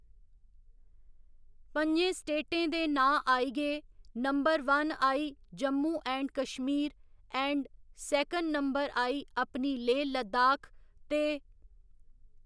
पञें स्टेटें दे नांऽ आई गे नंबर वन आई Jammu and Kashmir and second number आई अपनी लेह् लद्दाख ते